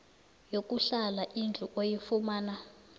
yokuhlala indlu oyifumana